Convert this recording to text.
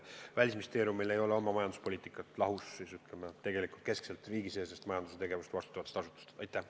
Välisministeeriumil ei ole oma majanduspoliitikat, mis ei haaku riigisisese majandustegevuse eest vastutava asutuse arusaamadega.